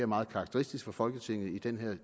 meget karakteristisk for folketinget i den her